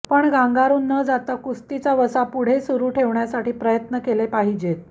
पण गांगारून न जाता कुस्तीचा वसा पुढे सुरु ठेवण्यासाठी प्रयत्न केले पाहिजेत